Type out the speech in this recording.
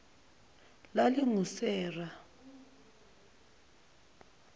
lalingusera